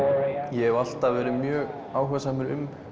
ég hef alltaf verið mjög áhugasamur um